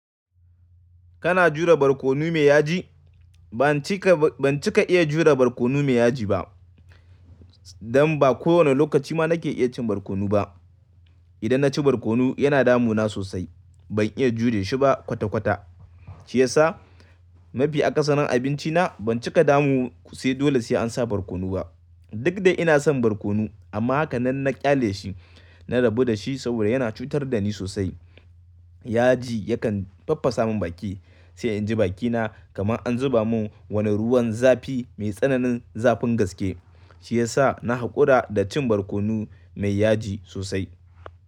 Kana jure barkono mai yaji? Ban cika, ban cika iya jure barkono mai yaji ba. Dan ba kowane lokaci ma na ke iya cin barkono ba. Idan na ci barkono yana damu na sosai. Ban iya jure shi ba kwata kwata. Shi yasa mafi akasarin abinci na ban cika damu sai dole sai an sa barkono ba. Duk da ina son barkono amma hakanan na ƙyale shi. Na rabu da shi saboda yana cutar da ni sosai. Yaji yakan faffasa mun baki, sai in ji bakina kamar an zuba mun wani ruwan zafi mai tsananin zafin gaske. Shi yasa na haƙura da cin barkono mai yaji sosai.